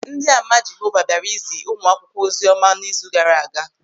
Ndị Ama Jehova bịara izi ụmụakwụkwọ oziọma n'izu gaara aga.